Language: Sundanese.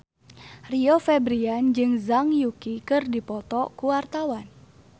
Rio Febrian jeung Zhang Yuqi keur dipoto ku wartawan